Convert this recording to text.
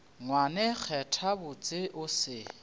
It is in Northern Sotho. ngwane kgetha botse o se